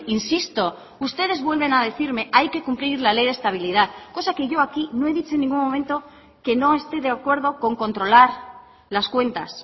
insisto ustedes vuelven a decirme hay que cumplir la ley de estabilidad cosa que yo aquí no he dicho en ningún momento que no esté de acuerdo con controlar las cuentas